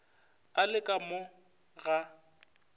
a le ka mo ga